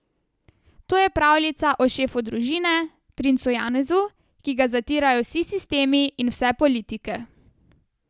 To je pravljica o šefu družine, princu Janezu, ki ga zatirajo vsi sistemi in vse politike.